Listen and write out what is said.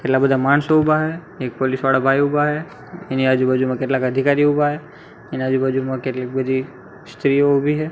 કેટલા બધા માણસો ઉભા હે એક પોલીસ વાળા ભાય ઉભા હે એની આજુબાજુમાં કેટલાક અધિકારીઓ ઉભા હે તેની આજુબાજુમાં કેટલીક બધી સ્ત્રીઓ ઊભી હે.